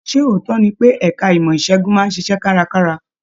Ṣe ootọ ní pe ẹka ìmọ isegun máa n ṣiṣẹ karakara?